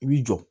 I b'i jɔ